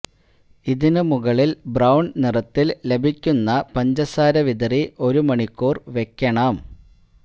ഇതിന് മുകളില് ബ്രൌണ് നിറത്തില് ലഭിയ്ക്കുന്ന പഞ്ചസാര വിതറി ഒരു മണിക്കൂര് വയ്ക്കണം